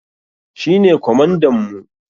Shi ne kwamandan mu.